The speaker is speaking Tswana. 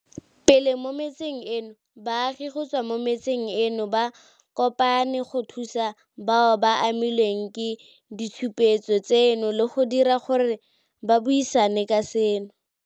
pele mo metseng eno, baagi go tswa mo metseng eno ba kopane go thusa bao ba amilweng ke ditshupetso tseno le go dira gore ba buisane ka seno.